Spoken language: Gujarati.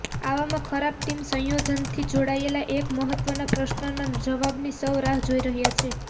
આવામાં ખરાબ ટીમ સંયોજનથી જોડાયેલા એક મહત્વનાં પ્રશ્નનાં જવાબની સૌ રાહ જોઇ રહ્યા છે